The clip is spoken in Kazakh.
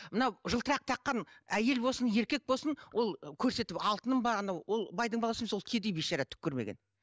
мынау жылтырақ таққан әйел болсын еркек болсын ол көрсетіп алтыным бар анау ол байдың баласы емес ол кедей бейшара түк көрмеген